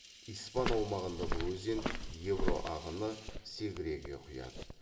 испан аумағында бұл өзен ебро ағыны сегреге құяды